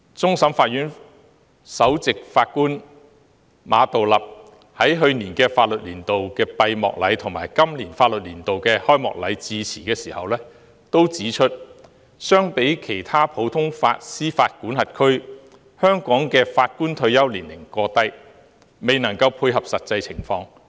終審法院首席法官馬道立在去年法律年度的閉幕禮及今年法律年度的開幕禮致辭時均指出，相比其他普通法司法管轄區，香港法官的退休年齡過低，未能配合實際情況。